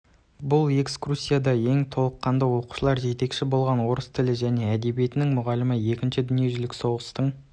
бұл экскурсияда ең толқытқаны оқушыларға жетекші болған орыс тілі және әдебиетінің мұғалімі екінші дүние жүздік соғыстың